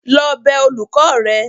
lọ bẹ olùkọ́ rẹ!